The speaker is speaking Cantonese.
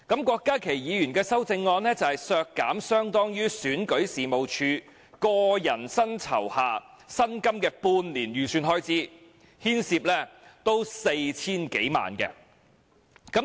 郭家麒議員的修正案是削減相當於選舉事務處個人薪酬下薪金的半年預算開支，牽涉 4,000 多萬元。